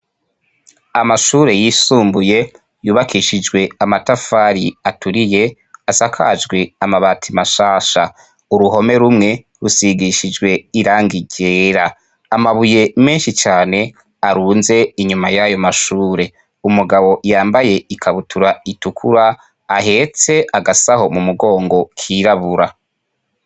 Amashure yisumbuye yubakishijwe amatafari aturiye, asakajwe amabati mashasha. Uruhome rumwe rusigishijwe irangi ryera. Amabuye menshi cane arunze inyuma yayo mashure. Umugabo yambaye ikabutura itukura, ahetse agasaho mumugongo kirabura.